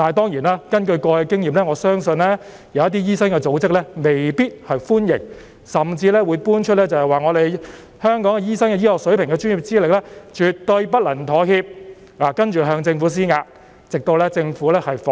然而，根據過往的經驗，我相信某些醫生組織未必會歡迎，甚至會搬出"香港醫生的醫學水平和專業資歷絕對不能妥協"的理由，然後向政府施壓，直到政府放棄。